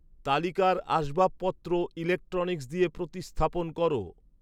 তালিকার আসবাবপত্র ইলেক্ট্রনিক্স দিয়ে প্রতিস্থাপন করো